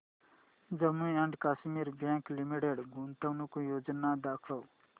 Jammu and Kashmir bank limited गुंतवणूक योजना दाखव